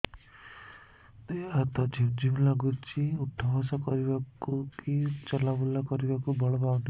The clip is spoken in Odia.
ଦେହେ ହାତ ଝିମ୍ ଝିମ୍ ଲାଗୁଚି ଉଠା ବସା କରିବାକୁ କି ଚଲା ବୁଲା କରିବାକୁ ବଳ ପାଉନି